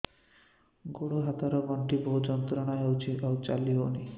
ଗୋଡ଼ ହାତ ର ଗଣ୍ଠି ବହୁତ ଯନ୍ତ୍ରଣା ହଉଛି ଚାଲି ହଉନାହିଁ